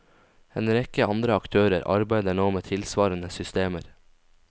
En rekke andre aktører arbeider nå med tilsvarende systemer.